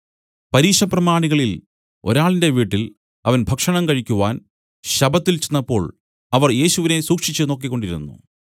പരീശപ്രമാണികളിൽ ഒരാളിന്റെ വീട്ടിൽ അവൻ ഭക്ഷണം കഴിക്കുവാൻ ശബ്ബത്തിൽ ചെന്നപ്പോൾ അവർ യേശുവിനെ സൂക്ഷിച്ച് നോക്കിക്കൊണ്ടിരുന്നു